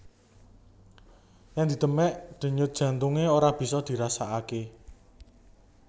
Yèn didemèk denyut jantungé ora bisa dirasakaké